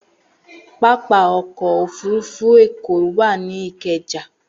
Pápá ọkọ̀-òfurufú Èkó wà ní Ìkẹjà.